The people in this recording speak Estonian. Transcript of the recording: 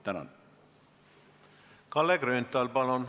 Kalle Grünthal, palun!